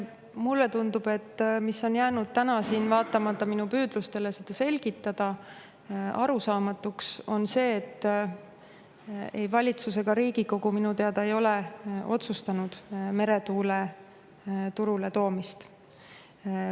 Mulle tundub, et vaatamata minu püüdlustele seda selgitada on siin täna jäänud arusaamatuks, et ei valitsus ega Riigikogu minu teada ei ole otsustanud meretuult turule tuua.